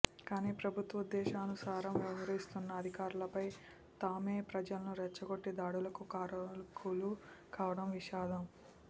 కానీ ప్రభుత్వాదేశానుసారం వ్యవహరిస్తున్న అధికారులపై తామే ప్రజలను రెచ్చగొట్టి దాడులకు కారకులు కావడం విషాదం